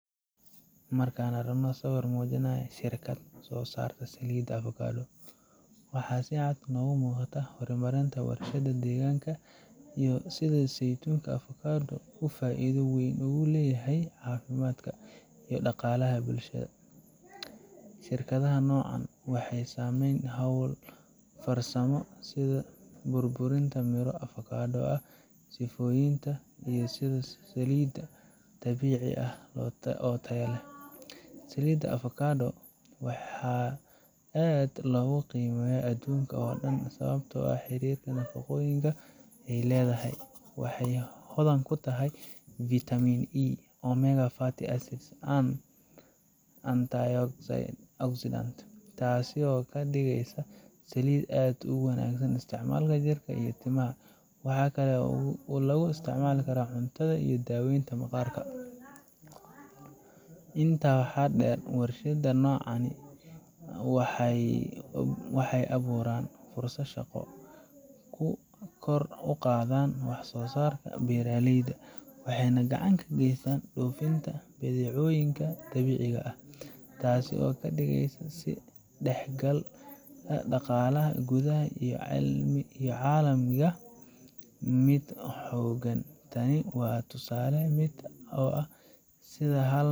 Marka aan aragno sawir muujinaya shirkad soo saarta saliid avocado, waxaa si cad noogu muuqata horumarinta warshadaha deegaanka iyo sida saytuunka avocado uu faa’iido weyn ugu leeyahay caafimaadka iyo dhaqaalaha bulshada. Shirkadaha nuucan ah waxay sameeyaan hawlo farsamo sida burburinta miro avocado ah, sifayntooda, iyo soo saaridda saliid dabiici ah oo tayo leh. Saliidda avocado waa mid aad loogu qiimeeyo adduunka oo dhan sababo la xiriira nafaqooyinka ay leedahay. Waxay hodan ku tahay vitamin E, omega fatty acids, and anti oxidants, taasoo ka dhigaysa saliid aad ugu wanaagsan isticmaalka jirka iyo timaha. Waxaa kale oo lagu isticmaalaa cuntada iyo daaweynta maqaarka. Intaa waxaa dheer, warshada noocan ah waxay abuuraan fursado shaqo, kor u qaadaan waxsoosaarka beeraleyda, waxayna gacan ka geystaan dhoofinta badeecooyinka dabiiciga ah, taas oo ka dhigaysa is dhexgalka dhaqaalaha gudaha iyo kan caalamiga ah mid xooggan. Tani waa tusaale cad oo ah sida hal.